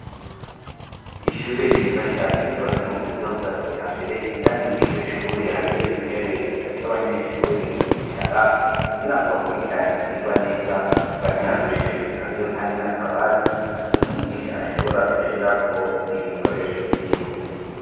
Ishure ryiza cane ryobazwe mu buryo bwa kija mbere indani mwiryo shure hariyo intebe zifashe abanyeshure kwicara kugira ngo bakurikirane ivyirwa neza batarushe hariyo, kandi n' akabati umwigisha ashobora gushirako ibi bikoresho vyiwe.